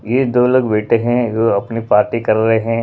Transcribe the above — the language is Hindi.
ये दो लोग बैठे हैंजो अपनी पार्टी कर रहे हैं।